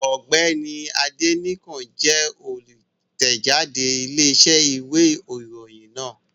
Ọ̀gbẹ́ni Adénẹ́kàn jẹ́ olùtẹ̀jáde Iléeṣẹ́ ìwé ìròyìn náà